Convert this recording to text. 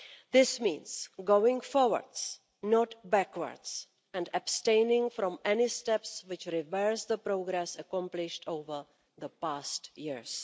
This means going forwards, not backwards, and abstaining from any steps which would reverse the progress accomplished over the past years.